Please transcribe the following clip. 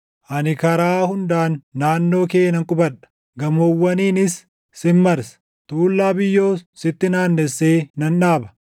Ani karaa hundaan naannoo kee nan qubadha; gamoowwaniinis sin marsa; tuullaa biyyoos sitti naannessee nan dhaaba.